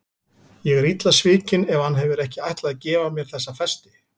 Ég er illa svikin ef hann hefur ekki ætlað að gefa mér þessa festi.